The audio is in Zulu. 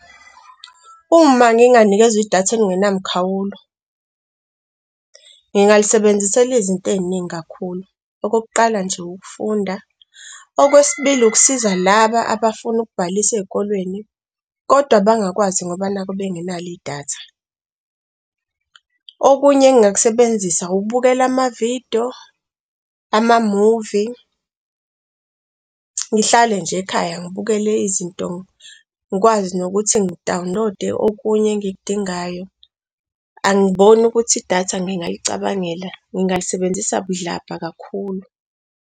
Uma nginganikezwa i-data elingena mkhawulo, ngingalisebenzisela izinto ey'ningi kakhulu, okokuqala nje ukufunda okwesibili ukusiza laba abafuna ukubhalisa ey'kolweni kodwa abangakwazi ngoba nakhu benginalo i-data. Okunye engingakusebenzisa ukubukela ama-video, ama-movie, ngihlale nje ekhaya ngibukele izinto ngikwazi nokuthi ngi-download-e okunye engikudingayo. Angiboni ukuthi i-data ngingalicabangela, ngingalisebenzisa budlabha kakhulu.